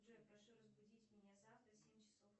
джой прошу разбудить меня завтра в семь часов